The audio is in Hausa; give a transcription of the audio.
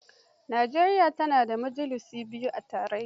Nijeriya tana da majalisu biyu a tarayya.